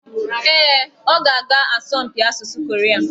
Ee, ọ ga-aga asọmpi asụsụ Koria.